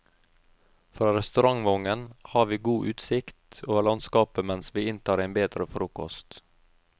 Fra restaurantvognen har vi god utsikt over landskapet mens vi inntar en bedre frokost.